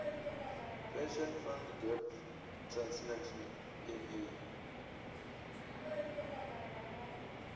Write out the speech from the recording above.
pension fund gepf transnet na